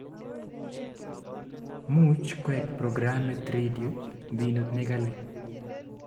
Much koek programitab radioit mbinut nekali